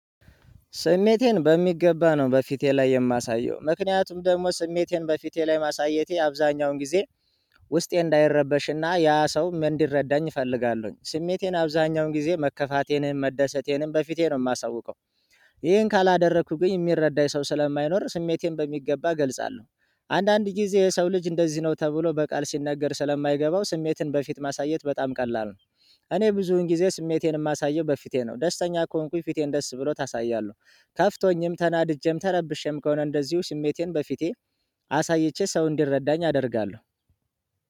ስሜቴን በሚገባ ነው በፊቴ ላይ የማሳየው ምክንያቱም ደግሞ ስሜቴን በፊቴ ላይ ማሳየቴ አብዛኛውን ጊዜ ውስጤ እንዳይረበሽ እና ያ ሰውም እንዲረዳኝ እፈልጋለሁኝ። ስሜቴን አብዛኛውን ጊዜ መከፋቴንም መደሰቴንም በፊቴ ነው ማሳውቀው። ይሄን ካላደረኩብኝ ሚረዳኝ ሰው ስለማይኖር ስሜቴን በሚገባ እገልጻለሁ። አንዳንድ ጊዜ የሰው ልጅ እንደዚህ ነው ተብሎ በቃል ሲነገር ስለማይገባው ስሜትን በፊት ማሳየት በጣም ቀላል ነው። እኔ ብዙውን ጊዜ ስሜቴን እማሳየው በፊቴ ነው ደስተኛ ከሆንኩኝ ፊቴን ደስ ብሎት አሳያለሁ። ከፍቶኝም ተናድጄም ተረብሼም ከሆነ እንደዚሁ ስሜቴን በፊቴ አሳይቼ ሰው እንዲረዳኝ አደርጋለሁ።